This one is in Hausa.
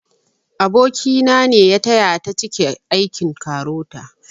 Aboki na ne ya taya ta cike aikin KAROTA